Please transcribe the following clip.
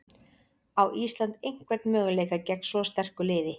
Á Ísland einhvern möguleika gegn svo sterku liði?